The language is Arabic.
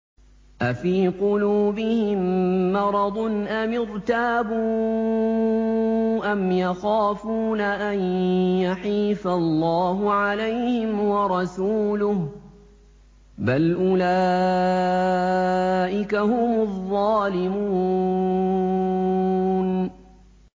أَفِي قُلُوبِهِم مَّرَضٌ أَمِ ارْتَابُوا أَمْ يَخَافُونَ أَن يَحِيفَ اللَّهُ عَلَيْهِمْ وَرَسُولُهُ ۚ بَلْ أُولَٰئِكَ هُمُ الظَّالِمُونَ